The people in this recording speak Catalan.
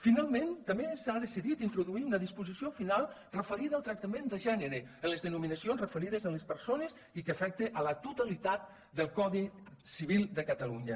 finalment també s’ha decidit introduir una disposició final referida al tractament de gènere en les denominacions referides a les persones i que afecta la totalitat del codi civil de catalunya